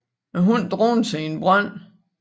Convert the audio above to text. Hunden druknede sig i en brønd